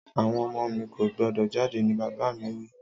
Àwon ọmọ mi ko gbọ́dọ̀ jáde ni bàbà mi wi